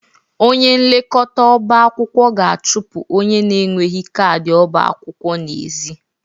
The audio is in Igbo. Onye nlekọta ọba akwụkwọ ga-achụpụ onye n'enweghị kaadị ọba akwụkwọ n'ezi.